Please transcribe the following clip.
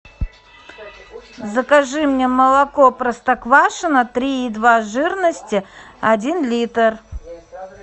закажи мне молоко простоквашино три и два жирности один литр